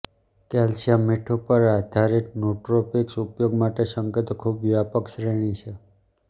calcium મીઠું પર આધારિત નુટ્રોપિક્સ ઉપયોગ માટે સંકેતો ખૂબ વ્યાપક શ્રેણી છે